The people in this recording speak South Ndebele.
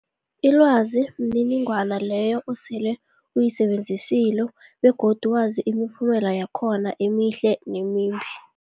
Ilwazi mniningwana leyo osele uyisebenzisile begodu wazi imiphumela yakhona emihle nemimbi.